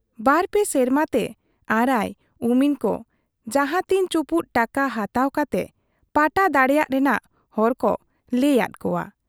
ᱵᱟᱨᱯᱮ ᱥᱮᱨᱢᱟᱛᱮ ᱟᱨᱟᱭ, ᱩᱢᱤᱱ ᱠᱚ ᱡᱟᱦᱟᱸ ᱛᱤᱱ ᱪᱩᱯᱩᱫ ᱴᱟᱠᱟ ᱦᱟᱛᱟᱣ ᱠᱟᱛᱮ ᱯᱟᱴᱟ ᱫᱟᱲᱮᱭᱟᱜ ᱨᱮᱱᱟᱜ ᱦᱚᱨᱠᱚ ᱞᱟᱹᱭ ᱟᱫ ᱠᱚᱣᱟ ᱾